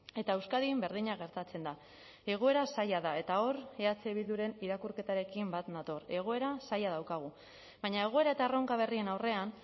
eta euskadin berdina gertatzen da egoera zaila da eta hor eh bilduren irakurketarekin bat nator egoera zaila daukagu baina egoera eta erronka berrien aurrean